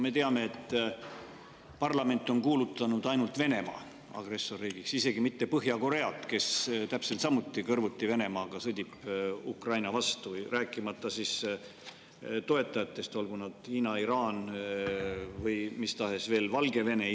Me teame, et parlament on kuulutanud agressorriigiks ainult Venemaa, aga isegi mitte Põhja-Korea, kes täpselt samuti kõrvuti Venemaaga sõdib Ukraina vastu, rääkimata toetajatest, olgu nad Hiina, Iraan või mis tahes veel.